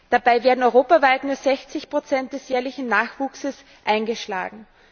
Dabei werden europaweit nur 60 des jährlichen Nachwuchses eingeschlagen.